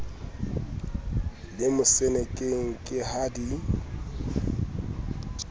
le mosenekeng ke ha di